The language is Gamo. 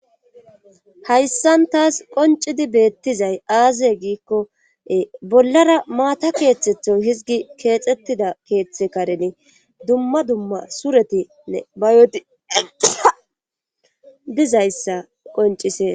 hayssan taas qoncidi beettizay aaze giikkoe bollara maata keeththetho hizgi keexettida keeththe kareni dumma dumma suretinne bayodi alqea dizayssa qoncise